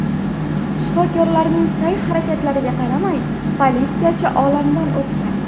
Shifokorlarning sa’y-harakatlariga qaramay, politsiyachi olamdan o‘tgan.